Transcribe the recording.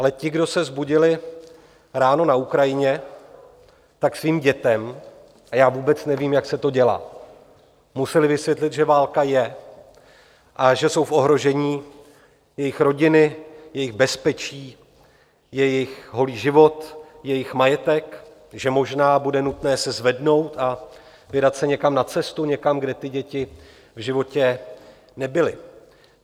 Ale ti, kdo se vzbudili ráno na Ukrajině, tak svým dětem, a já vůbec nevím, jak se to dělá, museli vysvětlit, že válka je a že jsou v ohrožení jejich rodiny, jejich bezpečí, jejich holý život, jejich majetek, že možná bude nutné se zvednout a vydat se někam na cestu, někam, kde ty děti v životě nebyly.